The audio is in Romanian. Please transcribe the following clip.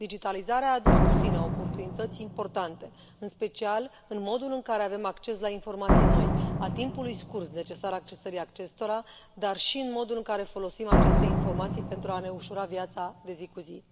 Digitalizarea a adus cu sine oportunități importante, în special în modul în care avem acces la informații noi, a timpului scurt necesar accesării acestora, dar și în modul în care folosim aceste informații pentru a ne ușura viața de zi cu zi.